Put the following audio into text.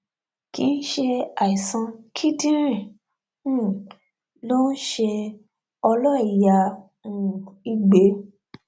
kì í ṣe àìsàn kíndìnrín um ló ń ṣe ọlọìyá um igbe